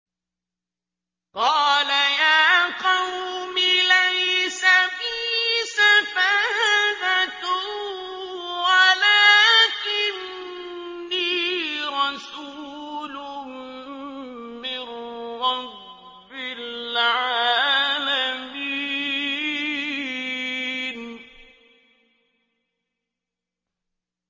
قَالَ يَا قَوْمِ لَيْسَ بِي سَفَاهَةٌ وَلَٰكِنِّي رَسُولٌ مِّن رَّبِّ الْعَالَمِينَ